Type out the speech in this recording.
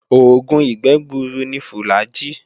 Oògùn ìgbẹ́ gbuuru ni fùlàgi